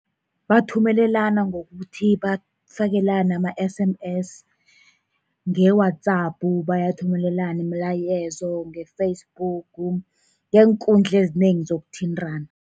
Bathumelana ngokuthi bafakelane ama-S_M_S, nge-WhatsApp, bayathumelana imilayezo ngeFacebook, ngeenkundla ezinengi zokuthintana.